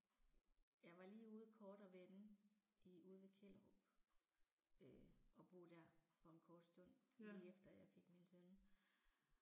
Jeg var lige ude kort og vende i ude ved Kjellerup øh og bo der for en kort stund, lige efter jeg fik min søn